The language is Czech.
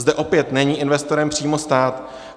Zde opět není investorem přímo stát.